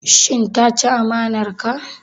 Shin ta ci amanar ka?